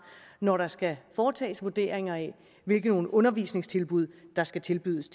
når der skal foretages vurderinger af hvilke undervisningstilbud der skal tilbydes